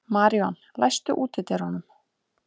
Maríon, læstu útidyrunum.